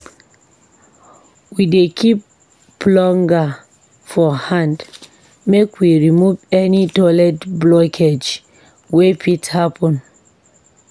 We dey keep plunger for hand make we remove any toilet blockage wey fit happun.